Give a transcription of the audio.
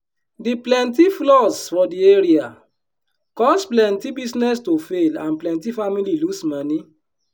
d plenty floods for di area cause plenty business to fail and plenty family lose moni.